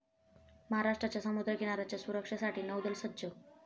महाराष्ट्राच्या समुद्रकिनाऱ्याच्या सुरक्षेसाठी नौदल सज्ज'